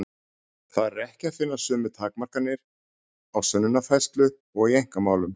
Þar er ekki að finna sömu takmarkanir á sönnunarfærslu og í einkamálum.